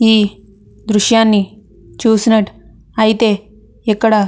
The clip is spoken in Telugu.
ఈ దృశ్యాన్ని చూసినట్టు ఐతే ఇక్కడ --